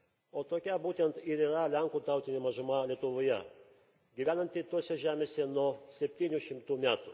O tokia būtent ir yra lenkų tautinė mažuma Lietuvoje, gyvenanti tose žemėse nuo 700 metų.